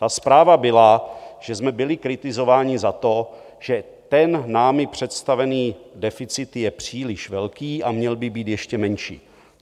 Ta zpráva byla, že jsme byli kritizováni za to, že ten námi představený deficit je příliš velký a měl by být ještě menší.